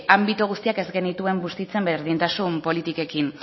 anbito guztiak ez genituen bustitzen berdintasun politikekin